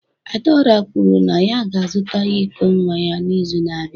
Adaora kwuru na ya ga-azụta iko nwa ya n'izu na-abịa